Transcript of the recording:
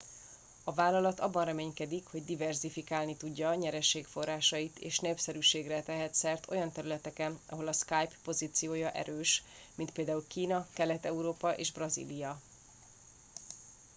a vállalat abban reménykedik hogy diverzifikálni tudja nyereségforrásait és népszerűségre tehet szert olyan területeken ahol a skype pozíciója erős mint például kína kelet európa és brazília